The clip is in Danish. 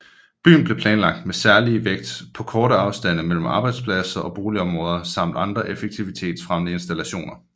Byen blev planlagt med særlig vægt på korte afstande mellem arbejdspladser og boligområder samt andre effektivitetsfremmende installationer